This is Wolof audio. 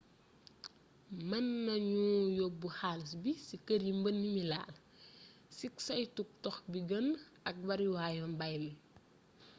mën nañu yobbu xaalis bi ci kër yi mbënd mi laal cig saytug dox bi gën ak bariwaayu mbay mi